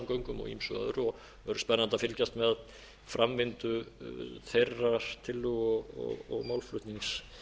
öðru og það verður spennandi að fylgjast með framvindu þeirrar tillögu og málflutnings